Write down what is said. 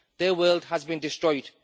Their world has been destroyed.